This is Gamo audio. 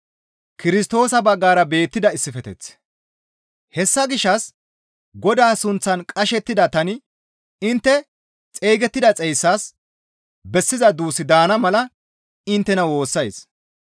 Hessa gishshas Godaa sunththan qashettida tani intte xeygettida xeyssaas bessiza duus daana mala inttena woossays.